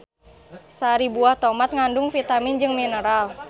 Sari buah tomat ngandung vitamin jeung mineral.